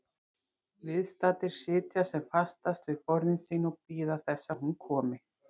Viðstaddir sitja sem fastast við borðin sín og bíða þess að hún komi.